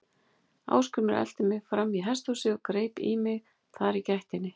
Ásgrímur elti mig fram í hesthúsið og greip í mig þar í gættinni.